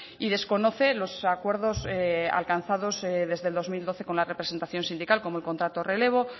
y desconoce los acuerdos alcanzados desde el dos mil doce con la representación sindical como el contrato relevo